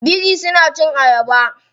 Biri suna cin ayaba.